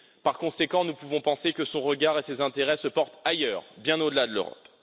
Par conséquent, nous pouvons penser que son regard et ses intérêts se portent ailleurs, bien au delà de l'Europe.